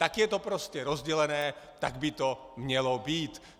Tak je to prostě rozdělené, tak by to mělo být.